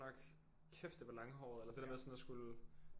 Kæft det var langhåret eller det der med sådan at skulle